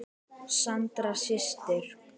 Sandra systir.